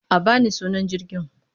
A ba ni sunan jirgin!